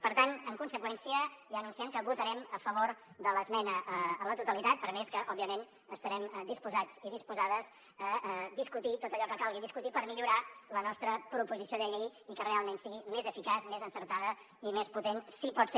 per tant en conseqüència ja anunciem que votarem a favor de l’esmena a la totalitat per més que òbviament estarem disposats i disposades a discutir tot allò que calgui discutir per millorar la nostra proposició de llei i que realment sigui més eficaç més encertada i més potent si pot ser